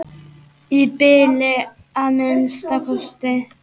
Í bili að minnsta kosti.